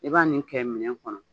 I b'a nin kɛ minɛn kɔnɔ